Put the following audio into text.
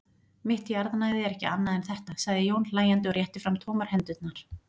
Mitt jarðnæði er ekki annað en þetta, sagði Jón hlæjandi og rétti fram tómar hendurnar.